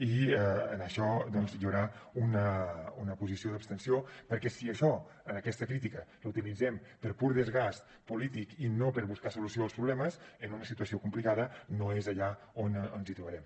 i en això doncs hi haurà una posició d’abstenció perquè si això aquesta crítica la utilitzem per pur desgast polític i no per buscar solució als problemes en una situació complicada no és allà on ens hi trobarem